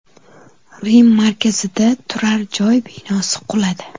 Rim markazida turar joy binosi quladi .